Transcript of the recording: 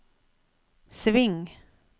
sving